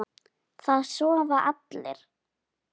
Það sofa allir.